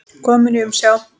Kominn í umsjá